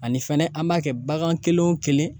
Ani fɛnɛ an b'a kɛ bagan kelen o kelen